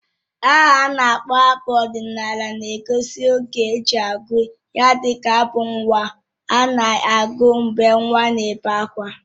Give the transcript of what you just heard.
Aha a na-akpọ abụ ọdịnala na-egosi oge e ji agụ ya dịka abụ nnwa a na-agụ mgbe nwa n'ebé ákwá